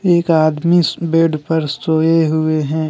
एक आदमी इस बेड पर सोए हुए हैं।